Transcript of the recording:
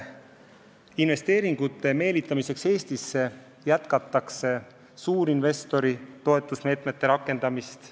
Investeeringute meelitamiseks Eestisse jätkatakse suurinvestori toetusmeetmete rakendamist.